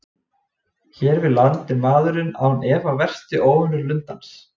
Hér við land er maðurinn án efa helsti óvinur lundans.